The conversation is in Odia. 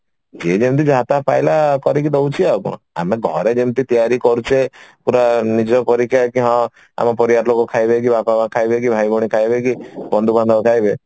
ଯିଏ ଯେମିତି ଯାହା ତାହା ପାଇଲା କରିଦେଇକି ଦଉଛି ଆଉ କଣ ଆମେ ଘରେ ଯେମିତି ପୁରା ନିଜ ପରିକା କି ହଁ ଆମ ପରିବାର ଲୋକ ଖାଇବେ କି ବାପା ମା ଖାଇବେ କି ଭାଇ ଭଉଣୀ ଖାଇବେ କି ବନ୍ଧୁବାନ୍ଧବ ଖାଇବେ